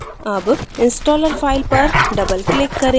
double installer file पर double click करें